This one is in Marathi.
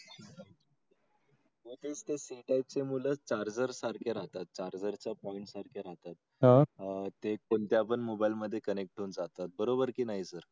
मध्ये कसे खायचे मुलं charger सारखे राहतात. charger च्या point सारखे राहतात. अह ते कोणत्या? पण मोबाईल मध्ये connect होऊन जातात. बरोबर की नाही सर?